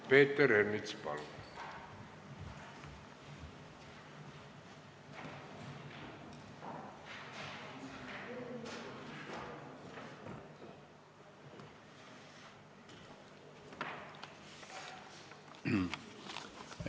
Peeter Ernits, palun!